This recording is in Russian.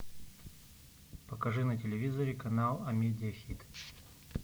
покажи на телевизоре канал амедиа хит